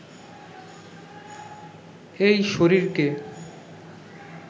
এই শরীরকে